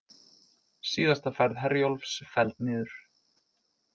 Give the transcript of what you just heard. Síðasta ferð Herjólfs felld niður